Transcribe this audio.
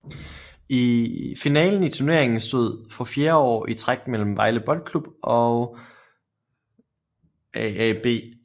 Finalen i turneringen stod for fjerde år i træk mellem Vejle BK og AaB